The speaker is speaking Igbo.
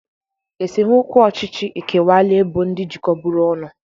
Esemokwu ọchịchị ekewaala ebo ndị jikọburu ọnụ.